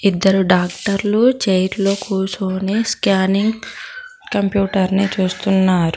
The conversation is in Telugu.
ఇద్దరు డాక్టర్లు చైర్లు కూర్చుని స్కానింగ్ కంప్యూటర్ని చూస్తున్నారు.